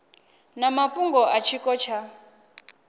na mafhungo a tshiko tsha